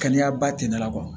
Kɛnɛya ba ten dala